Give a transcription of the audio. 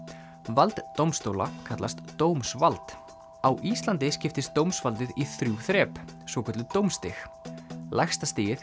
vald dómstóla kallast dómsvald á Íslandi skiptist dómsvaldið í þrjú þrep svokölluð dómsstig lægsta stigið